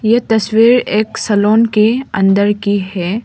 ये तस्वीर एक सैलून की अंदर की है।